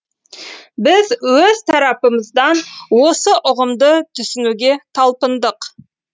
біз өз тарапымыздан осы ұғымды түсінуге талпындық